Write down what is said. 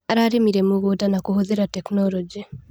Ararĩmire mũgũnda na kũhũthĩra tekinologĩ.